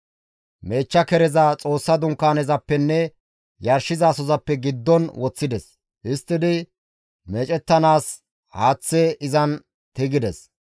Meechcha kereza Xoossa Dunkaanezappenne yarshizasozappe giddon woththides. Histtidi meecettanaas haaththe izan tigides.